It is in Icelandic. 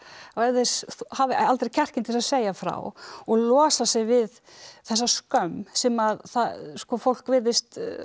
og ef þeir hafa aldrei kjarkinn til að segja frá og losa sig við þessa skömm sem fólk virðist